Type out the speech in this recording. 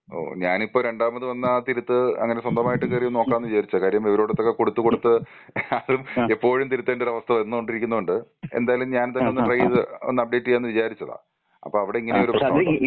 ഞാനിപ്പോ രണ്ടാമത് വന്ന ആ തിരുത്ത് അങ്ങനെ സ്വന്തമായിട്ട് കേറി ഒന്ന് നോക്കാംന്ന് വിചാരിച്ചതാ. കാര്യം ഇവരുതൊക്കെ കൊടുത്ത് കൊടുത്ത് എപ്പോഴും തിരുത്തേണ്ട ഒരു അവസ്ഥ വന്നുകൊണ്ടിരിക്കുന്നോണ്ട്. എന്തായാലും ഞാൻ തന്നെ ഒന്ന് ട്രൈ ചെയ്ത് അപ്ഡേറ്റ് യ്യാന്ന് വിചാരിച്ചതാ. അപ്പൊ അവിടെ ഇങ്ങനെയൊരു പ്രശ്നമുണ്ടോ?